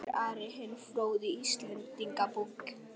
Svo segir Ari hinn fróði í Íslendingabók.